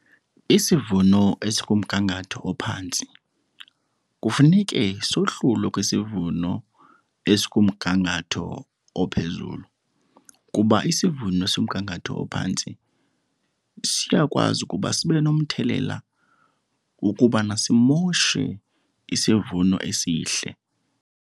Isivuno esikumgangatho ophantsi kufuneke sohlulwe kwisivuno esikumgangatho ophezulu kuba isivuno somgangatho ophantsi siyakwazi ukuba sibe nomthelela wokubana simoshe isivuno esihle.